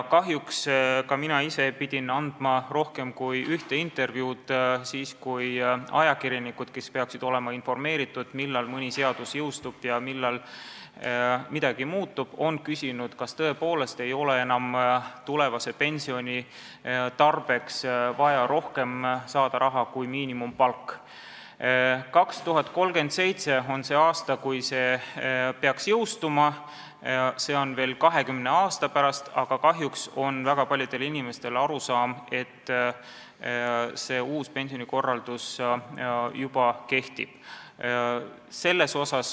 Kahjuks ka mina ise olen pidanud andma rohkem kui ühe intervjuu, vastates ajakirjanikele, kes peaksid olema informeeritud sellest, millal mõni seadus jõustub ja millal midagi muutub, aga kes küsisid, kas tõepoolest ei ole enam tulevase pensioni tarbeks vaja saada rohkem palka kui miinimumpalk. 2037 on see aasta, kui see muudatus peaks jõustuma – see on 20 aasta pärast –, aga kahjuks on väga paljudel inimestel arusaam, et uus pensionikorraldus juba kehtib.